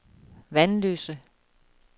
Vanløse